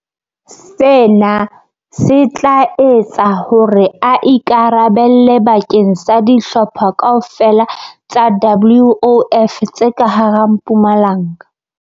Sena se tla etsa hore a ikara belle bakeng sa dihlopha kaofela tsa WOF tse ka hara Mpumalanga.